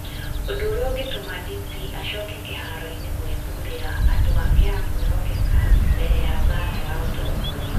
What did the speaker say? ũndũ ũrĩa ũngĩtũma DP acoke kĩharo-inĩ gwĩthuurĩra andũ a kwĩhokeka mbere ya mbaara ya ũtongoria.